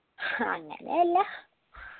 ഹങ്ങനെയല്ല